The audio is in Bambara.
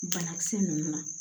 Banakisɛ ninnu na